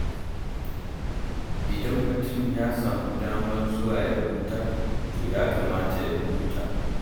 Idan mutum ya samu damar zuwa ya huta, to ya kamata ya huta.